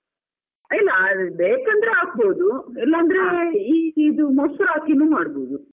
ಇಲ್ಲ ಬೇಕಂದ್ರೆ ಹಾಕ್ಬೋದು, ಇಲ್ಲಾಂದ್ರೆ ಈ ಇದು ಮೊಸ್ರು ಹಾಕಿನು ಮಾಡ್ಬೋದು.